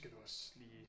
Skal du også lige